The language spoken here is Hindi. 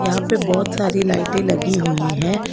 यहां पे बहुत सारी लाइटें लगी हुई हैं।